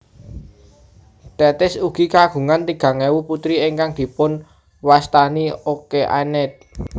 Tethis ugi kagungan tigang ewu putri ingkang dipunwastani Okeanid